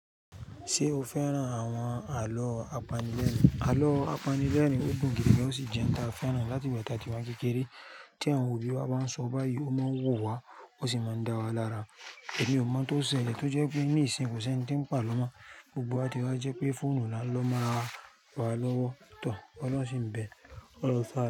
Ṣé o fẹ́ràn àwọn àlọ́ apanilẹ́rìn? Àlọ́ apanilẹ́rìn ò dùn gidi gan, ó sì jẹ́ ohun tí a fẹ́ràn láti gba tá a wà kékeré. Tí àwọn òbí wa bá ń sọ báyìí, ó máa ń wù wá, ó sì máa ń dá wa lára. Èmi ò mọ̀ tó ṣẹlẹ̀ tó jẹ́ pé ní ìsìn kò sí ẹni tí ń pa ló mọ̀. Gbogbo wa ti wá jẹ́ pé fóònù la ń lọ máa wá lọ́wọ́ too. Ọlọ́run ṣì ń bẹ̀, ọlọ́un sáa.